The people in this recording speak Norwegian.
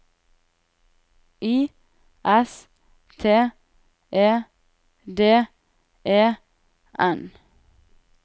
I S T E D E N